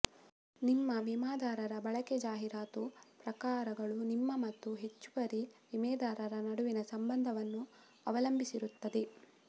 ನಿಮ್ಮ ವಿಮಾದಾರರ ಬಳಕೆ ಜಾಹಿರಾತು ಪ್ರಕಾರಗಳು ನಿಮ್ಮ ಮತ್ತು ಹೆಚ್ಚುವರಿ ವಿಮೆದಾರರ ನಡುವಿನ ಸಂಬಂಧವನ್ನು ಅವಲಂಬಿಸಿರುತ್ತದೆ